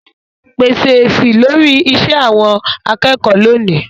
pèsè èsì lórí iṣẹ́ àwọn akẹ́kọ̀ọ́ lónìí.